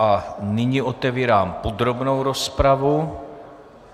A nyní otevírám podrobnou rozpravu.